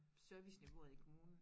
Serviceniveauet i kommunen